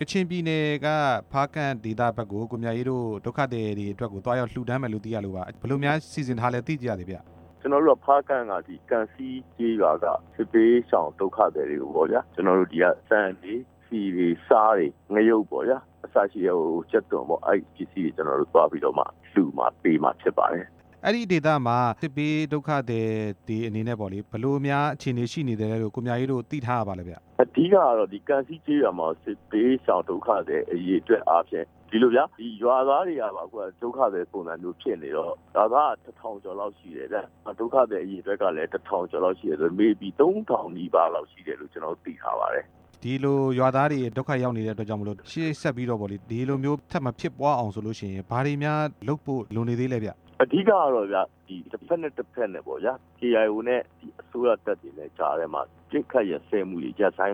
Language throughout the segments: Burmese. ကချင်ပြည်နယ်က ဖားကန့်ဒေသဖက်ကို ကိုမြအေးတို့ဒုက္ခသည်တွေကိုသွားရောက်လှူဒါန်းမယ်လို့သိရလို့ပါ၊ ဘယ်လိုများ စီစဉ်ထားလဲသိပါရစေခင်ဗျာ။ ကျနော်တို့က ဖားကန့်ကန့်စီးကျေးရွာက စစ်ဘေးရှောင်ဒုက္ခသည် တွေပေါ့ဗျာ၊ ကျနော်တို့ဒီက ဆန်တွေ၊ ဆီတွေ၊ ဆားတွေ၊ ငရုတ်ပေါ့ဗျာ၊ အစရှိတာတွေကို ကျနော်တို့သွားပြီးလှူမှာဖြစ်ပါတယ်၊ အဲ့ဒေသမှာ စစ်ဘေးဒုက္ခသည်တွေအနေနဲ့ပေါ့လေ၊ ဘယ်လိုအခြေအနေရှိလဲလို့ ကိုမြအေးတို့သိထားရပါလဲဗျ၊ ဒီလိုဗျာ ရွာသားတွေကပါဒုက္ခသည်ပုံစံမျိုးဖြစ်နေတော့ ရွာသားက တစ်ထောင်ကျော်လောက်ရှိတယ်ဗျာ၊ ဒုက္ခသည်အရေအတွက်ကလဲ တစ်ထောင်ကျော် လောက်ရှိနေတော့ သုံးထောင်နီးပါးရှိတယ်လို့ ကျနော်တို့သိထားပါတယ်၊ ရွာသားတွေကလဲ ဒုက္ခရောက်နေကြတော့ ရှေ့ဆက်ပြီးဒီလိုတွေ မဖြစ်အောင်ဘာတွေများလုပ်ဆောင်ရမှာလဲဗျ၊ အဓိက ကတော့ KIO နဲ့ အစိုးရတပ်တွေကြားမှာ အပစ်အခတ် တွေရပ်စဲ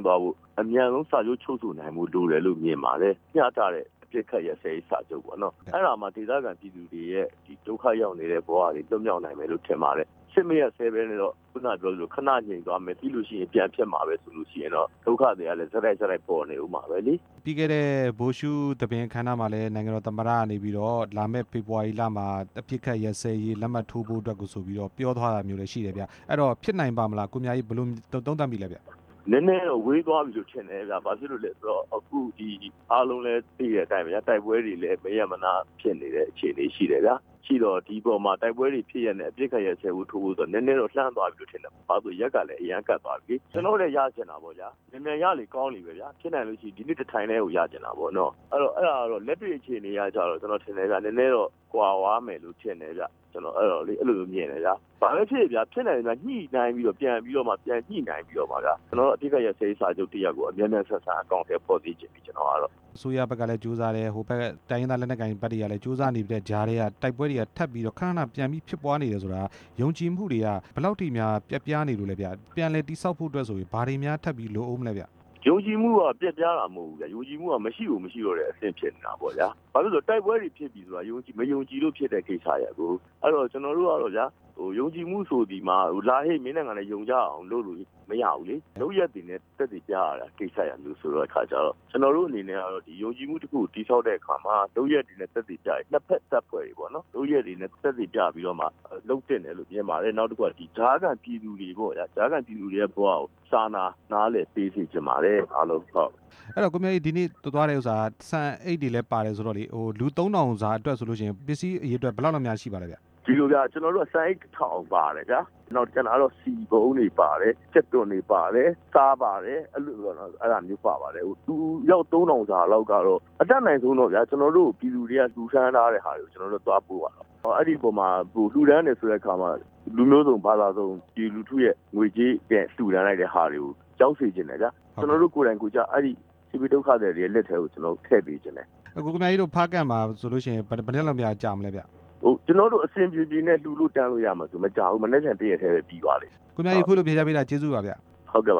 သွားဖို့အမြန်ဆုံး စာချုပ်ချုပ်ဆိုနိုင်ဖို့လိုတာပေါ့ဗျာ၊မျှတတဲ့ အပစ်အခတ်ရပ်စဲ ရေးစာချုပ်ပေါ့နော်၊ အဲ့တော့မှ ဒေသခံပြည်သူတွေရဲ့ဒုက္ခရောက်နေတာတွေလွတ် မြောက်နိုင်မယ်လို့ထင်ပါတယ်၊ အပစ်အခတ် မရပ်စဲပဲနဲ့တော့ ခဏငြိမ်သွားမယ်ပြီးရင်ပြန် ဖြစ်မှာပဲဆိုရင်တော့ ဒုက္ခသည်ကလဲ ဆက်တိုက်ဆက်တိုက် ပေါ်နေဦးမှာပဲလေ။ ပြီးခဲ့တဲ့ဗိုလ်ရှုသဘင် အခမ်းအနားမှာ နိုင်ငံတော်သမ္မတ ကနေပြီး တော့လာမယ့် ဖေဖော်ဝါရီလမှာ အပစ်အခတ်ရပ်စဲဖို့ ဆိုပြီးပြောသွား တာရှိတယ်ဗျာ၊ အဲ့တော့ဖြစ်နိုင်ပါ့မလား ကိုမြအေးအနေနဲ့ ဘယ်လိုမြင်ပါလဲဗျာ။ နည်းနည်းတော့ဝေးသွားပြီထင်တယ်ဗျ၊ ဘာလို့လဲဆိုတော့ အားလုံးလဲသိတဲ့အတိုင်းတိုက်ပွဲတွေလဲ မရပ်မနားဖြစ်နေတဲ့ အခြေအနေတွေ ရှိတယ်ဗျာ၊ တိုက်ပွဲတွေဖြစ်လျက်နဲ့ အပစ်အခတ်ရပ်စဲရေးစာချုပ်ချုပ်မယ်ဆိုတော့ နည်းနည်းတော့ လှမ်းသွားပြီထင်တယ်ဗျ၊ ဘာလို့လဲဆိုတော့ ရက်ကလဲ အရမ်းကပ်သွားပြီလေ၊ ကျနော် တို့လဲရချင်တာပေါ့ဗျာ၊ မြန်မြန်ရလေကောင်းလေပေါ့ဗျာ၊ ဖြစ်နိုင်မယ်ဆိုရင်အခု တစ်ထိုင်တည်းကိုရချင်တာပေါ့နော်၊ လက်တွေ့ အခြေအနေကတော့ နဲနဲတော့ကွာ သွားမယ်လို့ကျနော်ထင်တယ်ဗျ၊ ကျနော်အဲ့လိုမျိုးမြင်တယ်ဗျာ၊ ဘာပဲဖြစ်ဖြစ်ဗျာ၊ ညှိနှိုင်းပြီးတော့ အပစ်အခတ်ရပ်စဲရေး စာချုပ်ကိုမြန်မြန်အကောင်အထည်ဖော်စေချင်ပြီ၊ အစိုးရဖက်ကလဲကြိုးစားတယ်၊ တိုင်းရင်းသားလက်နက်ကိုင် အဖွဲ့တွေကလဲကြိုးစားနေပေမယ့် တိုက်ပွဲတွေကခဏခဏပြန်ဖြစ်နေတာ ဆိုတော့ ယုံကြည်မှုတွေကဘယ်လောက်ထိများပျက်ပြားနေလဲဗျ၊ ပြန်လည်တည်ဆောက် ဖို့အတွက်ရော ဘာတွေများလိုအပ်ဦးမလဲဗျ၊ ယုံကြည်မှုကပျက်ပြားတာမဟုတ်ဘူး၊ ယုံကြည်မှုရှိကိုမရှိတော့ တဲ့အနေအထားဖြစ်နေတာဗျ၊ ဘာလို့လဲဆိုတော့ တိုက်ပွဲတွေဖြစ်နေတယ် ဆိုတာ မယုံကြည်လို့ဖြစ်ရတဲ့ကိစ္စရပ်ကို၊ ယုံကြည်မှုဆိုတာကတော့ လာဟေ့ မင်းနဲ့ငါနဲ့ယုံ ကြည်မှုလုပ်ကြရအောင်ဆိုပြီးလုပ်လို့မရဘူးလေ၊ လုပ်ရပ်တွေနဲ့ သက်သေပြရတဲ့ ကိစ္စမျိုးဆိုတော့ ကျနော်တို့အနေနဲ့ယုံကြည်မှုတည်ဆောက်တဲ့အခါမှာ လုပ်ရပ်တွေနဲ့ သက်သေပြရင် ၂ ဖက်တပ်ဖွဲ့တွေပေါ့နော်၊ လုပ်ရပ်တွေနဲ့ သက်သေပြပြီးတော့မှ လုပ်သင့်တယ်လို့ထင်ပါတယ်၊ နောက်တစ်ခုကကြားခံပြည်သူတွေပေါ့ဗျာ၊ ပြည်သူတွေရဲ့ဘဝကို အားလုံးစာနာ နားလည်ပေးစေ ချင်ပါတယ်၊ အဲ့တော့ကိုမြအေးတို့သွားလှူမှာ ဆန်အိတ်တွေလဲပါတယ်၊ လူသုံးထောင်စာဆိုတော့ ပစ္စည်းအရေအတွက်ဘယ်လောက်များပါလဲခင်ဗျ၊ ကျနော်တို့ကဆန်အိတ်တစ်ထောင်ပါတယ်ဗျာ၊ နောက်ကျန်တာ ကတော့ ဆီပုံးတွေပါတယ်၊ ကြက်သွန်တွေပါတယ်၊ ဆားပါတယ်၊ လူအယောက်သုံး ထောင်စာကတော့ အတတ်နိုင်ဆုံးပြည်သူတွေကလှူဒါန်းထားကြတော့ ကျနော်တို့ ကိုယ်တိုင်ဒုက္ခသည်တွေလက်ထဲကို ထည့်ပေးချင် တယ်ဗျာ၊ ကိုမြအေးတို့ဖားကန့်မှာ ဘယ်နှစ်ရက်လောက်ကြာမလဲဗျ၊ ကျနော်တို့အဆင်ပြေပြေနဲ့ လှူဒါန်းလို့ရမယ်ဆိုမကြာဘူး၊ မနက်ဖြန်တစ်ရက်တည်းပြီးသွားလိမ့်မယ်။ ကိုမြအေးအခုလိုဖြေကြားတာကျေးဇူးပါဗျာ၊ ဟုတ်ကဲ့ဗ